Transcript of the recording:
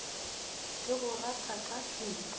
ke go rata ka pelo